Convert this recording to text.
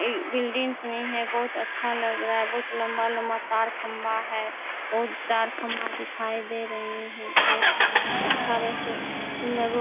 ये बिल्डिंग में है बहुत अच्छा लग रहा है बहुत लंबा - लंबा तार खंबा है और तार खंबा दिखाई दे रहै हैं और अच्छा रेसो सुंदर रोड --